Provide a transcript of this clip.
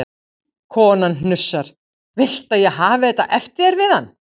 Konan hnussar: Viltu að ég hafi þetta eftir þér við hann?